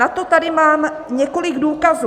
Na to tady mám několik důkazů.